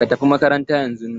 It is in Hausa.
Ka tafi makaranta yan zun nan!